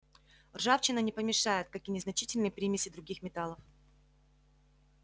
ржавчина не помешает как и незначительные примеси других металлов